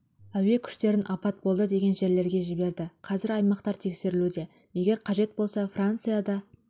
әуе күштерін апат болды деген жерлерге жіберді қазір аймақтар тексерілуде егер қажет болса франция да